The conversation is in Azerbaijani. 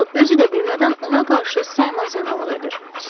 Kral özü də bilmədən ona qarşı saymaz yanaılıq edir.